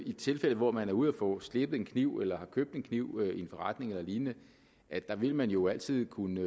i tilfælde hvor man er ude at få slebet en kniv eller har købt en kniv i en forretning eller lignende vil man jo altid kunne